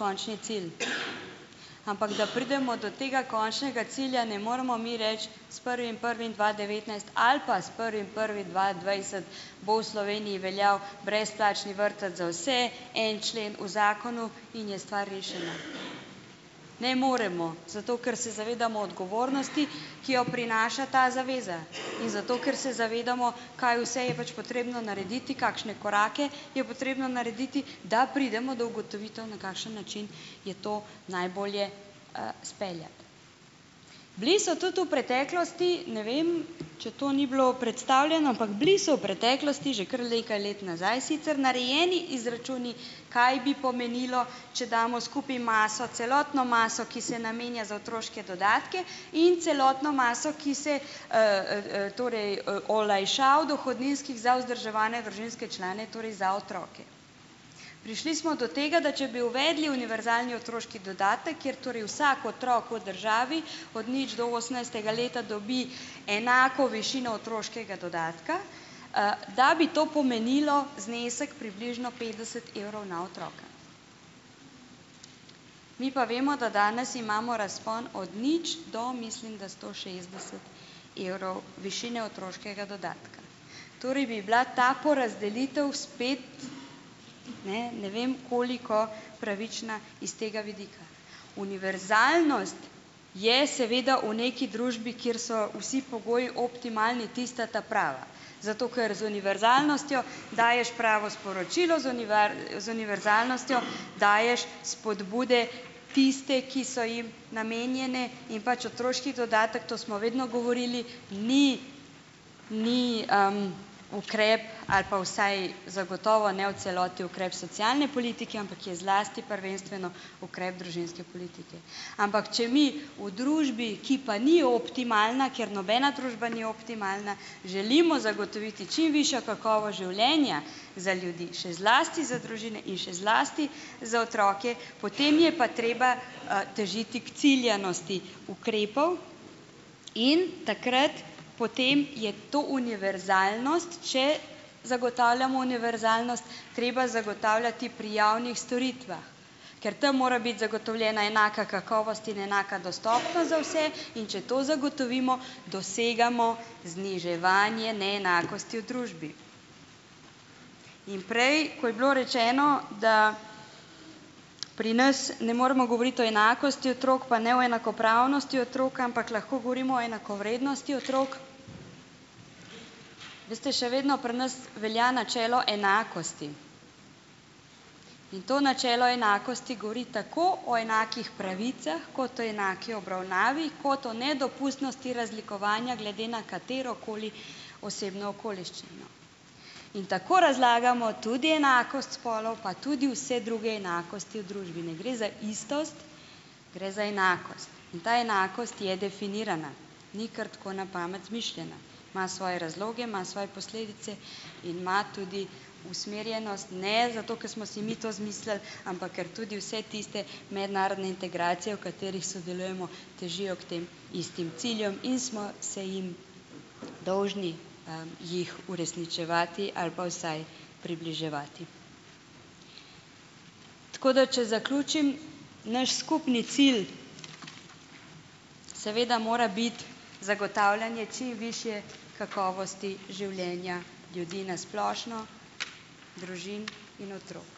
končni cilj, ampak da pridemo do tega končnega cilja, ne moremo mi reči, s prvim prvim dva devetnajst ali pa s prvim prvim dva dvajset bo v Sloveniji veljal brezplačni vrtec za vse, en člen v zakonu in je stvar rešena. Ne moremo, zato ker se zavedamo odgovornosti, ki jo prinaša ta zaveza, in zato ker se zavedamo, kaj vse je pač potrebno narediti, kakšne korake je potrebno narediti, da pridemo do ugotovitev, na kakšen način je to najbolje, speljati. Bili so tudi v preteklosti, ne vem, če to ni bilo predstavljeno, ampak bili so v preteklosti, že kar nekaj let nazaj sicer, narejeni izračuni, kaj bi pomenilo, če damo skupaj maso, celotno maso, ki se namenja za otroške dodatke, in celotno maso, ki se, torej, olajšav dohodninskih za vzdrževane družinske člane, torej za otroke. Prišli smo do tega, da če bi uvedli univerzalni otroški dodatek, kjer torej vsak otrok v državi, od nič do osemnajstega leta dobi enako višino otroškega dodatka, da bi to pomenilo znesek približno petdeset evrov na otroka. Mi pa vemo, da danes imamo razpon od nič do, mislim da, sto šestdeset evrov višine otroškega dodatka. Torej, bi bila ta porazdelitev spet, ne, ne vem koliko pravična iz tega vidika. Univerzalnost je seveda v neki družbi, kjer so vsi pogoji optimalni tista ta prava. Zato ker z univerzalnostjo daješ pravo sporočilo, z z univerzalnostjo daješ spodbude tiste, ki so jim, ne, namenjene, in pač otroški dodatek, to smo vedno govorili, ni, ni, ukrep, ali pa vsaj zagotovo ne v celoti, ukrep socialne politike, ampak je zlasti prvenstveno ukrep družinske politike. Ampak če mi v družbi, ki pa ni optimalna, ker nobena družba ni optimalna, želimo zagotoviti čim višjo kakovost življenja za ljudi, še zlasti za družine in še zlasti za otroke, potem je pa treba, težiti k ciljanosti ukrepov in takrat potem je to univerzalnost, če zagotavljamo univerzalnost, treba zagotavljati pri javnih storitvah. Ker tam mora biti zagotovljena enaka kakovost in enaka dostopnost za vse. In če to zagotovimo, dosegamo zniževanje neenakosti v družbi. In prej, ko je bilo rečeno, da pri nas ne moremo govoriti o enakosti otrok, pa ne o enakopravnosti otrok, ampak lahko govorimo o enakovrednosti otrok, veste, še vedno pri nas velja načelo enakosti. In to načelo enakosti govori tako o enakih pravicah, kot o enaki obravnavi, kot o nedopustnosti razlikovanja glede na katerokoli osebno okoliščino. In tako razlagamo tudi enakost spolov, pa tudi vse druge enakosti v družbi. Ne gre za istost, gre za enakost. In ta enakost je definirana, ni kar tako na pamet izmišljena. Ima svoje razloge, ima svoje posledice in ima tudi usmerjenost, ne zato, ker smo si mi to izmislili, ampak ker tudi vse tiste mednarodne integracije, v katerih sodelujemo, težijo k tem istim ciljem in smo se jim dolžni, jih uresničevati ali pa vsaj približevati. Tako da, če zaključim, naš skupni cilj seveda mora biti zagotavljanje čim višje kakovosti življenja ljudi na splošno, družin in otrok.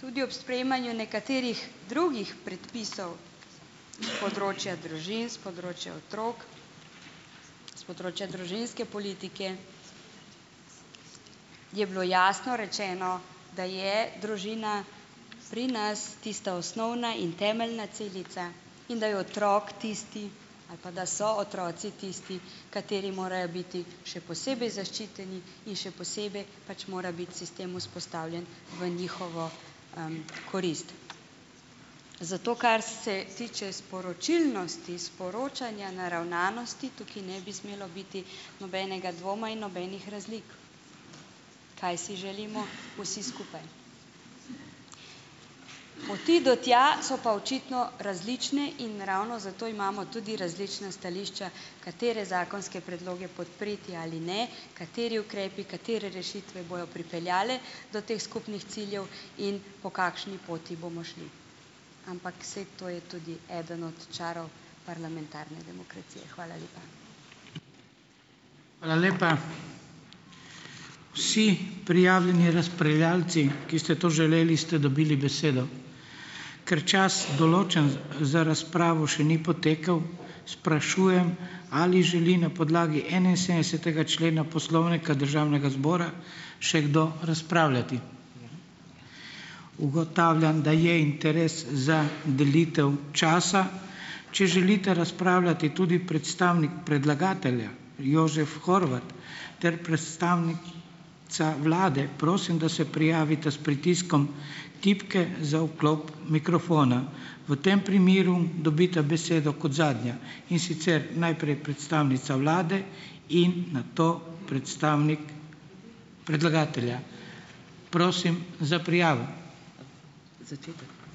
Tudi ob sprejemanju nekaterih drugih predpisov s področja družin, s področja otrok, s področja družinske politike, je bilo jasno rečeno, da je družina pri nas tista osnovna in temeljna celica in da je otrok tisti ali pa da so otroci tisti, kateri morajo biti še posebej zaščiteni in še posebej pač mora biti sistem vzpostavljen v njihovo, korist. Zato, kar se tiče sporočilnosti, sporočanja, naravnanosti, tukaj ne bi smelo biti nobenega dvoma in nobenih razlik, kaj si želimo vsi skupaj. Poti do tja so pa očitno različne in ravno zato imamo tudi različna stališča, katere zakonske predloge podpreti ali ne, kateri ukrepi, katere rešitve bojo pripeljale do teh skupnih ciljev in po kakšni poti bomo šli. Ampak saj to je tudi eden od čarov parlamentarne demokracije. Hvala lepa.